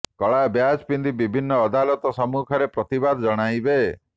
କଳା ବ୍ୟାଚ ପିନ୍ଧି ବିଭିନ୍ନ ଅଦାଲତ ସମ୍ମୁଖରେ ପ୍ରତିଦାବ ଜଣାଇବେ